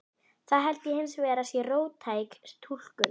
Það held ég hins vegar að sé of róttæk túlkun.